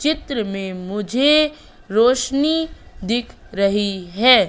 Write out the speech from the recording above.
चित्र में मुझे रोशनी दिख रही है।